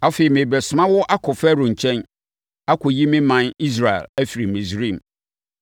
Afei, merebɛsoma wo akɔ Farao nkyɛn, akɔyi me ɔman Israel afiri Misraim.”